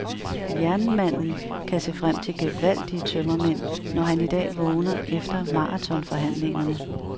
Jernmanden kan se frem til gevaldige tømmermænd, når han i dag vågner efter maratonforhandlingerne.